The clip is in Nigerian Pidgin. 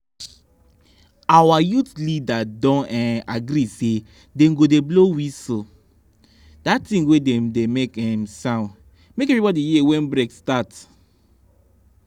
our youth leader don um agree say dem go dey blow whistle (that timg wey dey make um sound) make everybody hear when break start